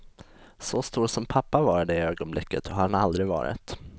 Så stor som pappa var i det ögonblicket har han aldrig varit.